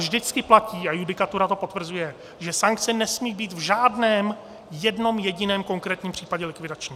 Vždycky platí, a judikatura to potvrzuje, že sankce nesmí být v žádném, jednom jediném konkrétním případě likvidační.